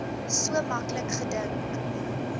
so maklik gedink